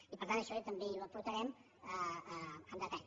i per tant això també ho aportarem en detall